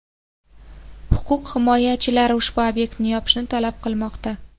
Huquq himoyachilari ushbu obyektni yopishni talab qilmoqda.